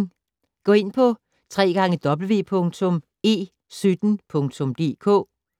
Gå ind på www.e17.dk